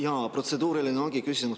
Jaa, protseduuriline küsimus.